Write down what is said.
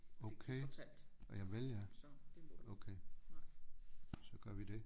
Okay javel ja okay så gør vi det